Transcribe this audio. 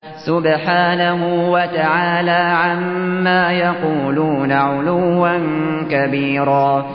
سُبْحَانَهُ وَتَعَالَىٰ عَمَّا يَقُولُونَ عُلُوًّا كَبِيرًا